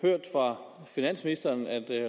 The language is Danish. hørt fra finansministeren at